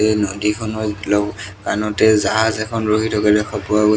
এই নদীখনত গ্লোৱ কানতে জাহাজ এখন ৰখি থকা দেখা পোৱা গৈছে।